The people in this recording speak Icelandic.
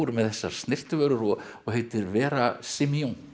með þessar snyrtivörur og og heitir Vera Simillon